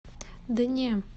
да не